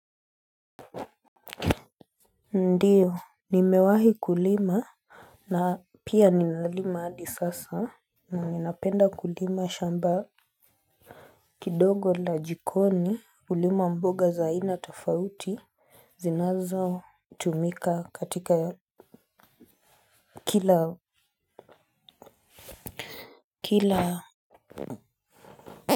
Ndio, nimewahi kulima na pia ninalima hadi sasa na ninapenda kulima shamba kidogo la jikoni hulima mboga za ina tafauti zinazo tumika katika kila kila.